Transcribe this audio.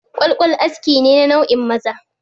Ƙwalƙwal nau'i ne na askin maza